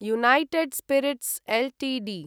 united Spirits Ltd